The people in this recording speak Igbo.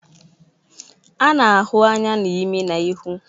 A na-ahụ anya na imi na ihu